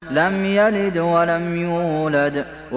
لَمْ يَلِدْ وَلَمْ يُولَدْ